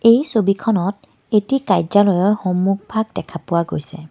এই ছবিখনত এটি কাৰ্য্যালয়ৰ সন্মুখভাগ দেখা পোৱা গৈছে।